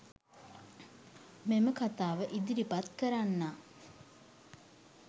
මෙම කතාව ඉදිරිපත් කරන්නා